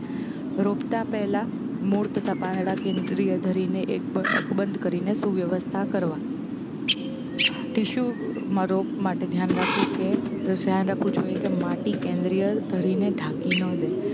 રોપતાં પહેલાં મૂળ તથા પાંદડાં કેન્દ્રીય ધરીને એક બ અકબંધ કરીને સુવ્યવસ્થા કરવા. ટીસ્યુમાં રોપ માટે ધ્યાન રાખવું કે ધ્યાન રાખવું જોઇએ કે માટી કેન્દ્રીય ધરીને ઢાંકી ન દે